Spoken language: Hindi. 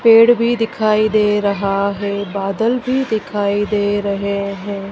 पेड़ भी दिखाई दे रहा है बादल भी दिखाई दे रहे हैं।